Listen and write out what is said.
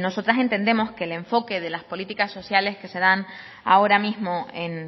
nosotras entendemos que el enfoque de las políticas sociales que se dan ahora mismo en